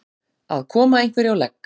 Að koma einhverju á legg